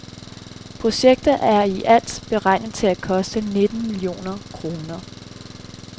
Projektet er i alt beregnet til at koste nitten millioner kroner.